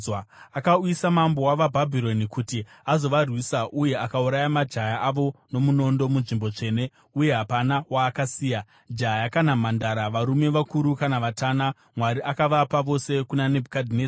Akauyisa mambo wavaBhabhironi kuti azovarwisa uye akauraya majaya avo nomunondo munzvimbo tsvene, uye hapana waakasiya, jaya kana mhandara, varume vakuru kana vatana. Mwari akavapa vose kuna Nebhukadhinezari.